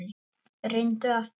Reyndu aftur.